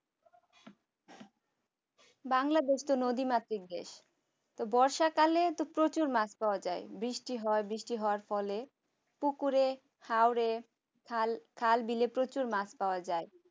bangladesh তো নদীমাতৃক দেশ বর্ষাকালে তো প্রচুর মাছ পাওয়া যায় বৃষ্টি হয় বৃষ্টি হওয়ার ফলে হলে পুকুরে ঘাওরে খাল খাল বিলে প্রচুর মাছ পাওয়া যায়